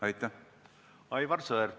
Aivar Sõerd, palun!